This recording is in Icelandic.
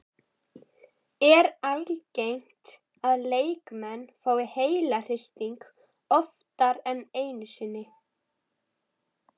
Er algengt að leikmenn fái heilahristing oftar en einu sinni?